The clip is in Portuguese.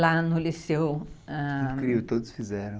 Lá no liceu... ãh, incrível, todos fizeram.